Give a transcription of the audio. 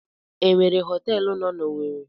E nwere họtelụ no n'Owere?